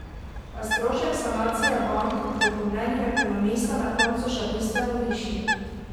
A, strošek sanacije bank bo po mnenju ekonomista na koncu še bistveno višji.